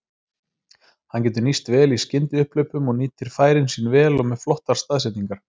Hann getur nýst vel í skyndiupphlaupum og nýtir færin sín vel og með flottar staðsetningar.